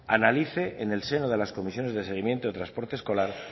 analice en el seno de las comisiones de seguimiento de transporte escolar